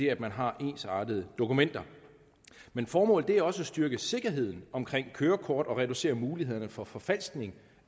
at man har ensartede dokumenter men formålet er også at styrke sikkerheden omkring kørekort og at reducere mulighederne for forfalskning